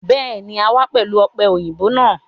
Béèni, a wá pẹ̀lú ọ̀pẹ-òyìnbó náà